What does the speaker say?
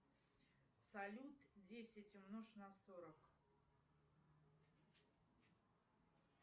салют десять умножь на сорок